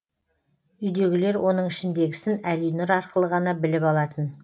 үйдегілер оның ішіндегісін әлинұр арқылы ғана біліп алатын